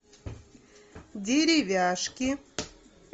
деревяшки